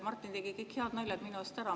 Martin tegi kõik head naljad minu eest ära.